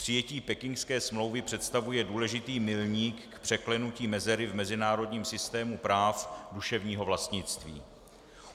Přijetí pekingské smlouvy představuje důležitý milník k překlenutí mezery v mezinárodním systému práv duševního vlastnictví.